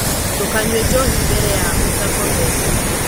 ndūkanyue njohi mbere ya ūtakomete.